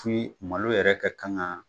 Puis malo yɛrɛ ka kan ka